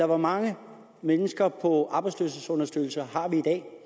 hvor mange mennesker på arbejdsløshedsunderstøttelse har vi i dag